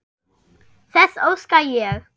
Þess óska ég.